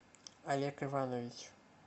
олег иванович